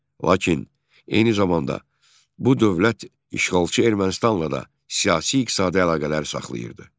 Lakin eyni zamanda bu dövlət işğalçı Ermənistanla da siyasi-iqtisadi əlaqələr saxlayırdı.